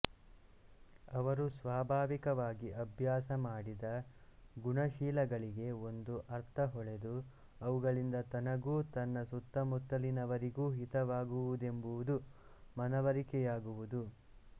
ಅವರು ಸ್ವಾಭಾವಿಕವಾಗಿ ಅಭ್ಯಾಸ ಮಾಡಿದ ಗುಣಶೀಲಗಳಿಗೆ ಒಂದು ಅರ್ಥ ಹೊಳೆದು ಅವುಗಳಿಂದ ತನಗೂ ತನ್ನ ಸುತ್ತಮುತ್ತಲಿನವರಿಗೂ ಹಿತವಾಗುವುದೆಂಬುದು ಮನವರಿಕೆಯಾಗುವುದು